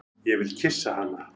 Ég vil kyssa hana.